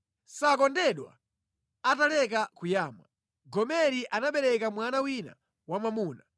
Sakondedwa ataleka kuyamwa, Gomeri anabereka mwana wina wamwamuna.